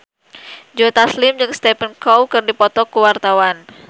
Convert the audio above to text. Joe Taslim jeung Stephen Chow keur dipoto ku wartawan